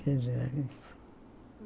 Federalista.